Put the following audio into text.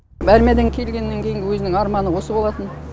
армиядан келгеннен кейінгі өзінің арманы осы болатын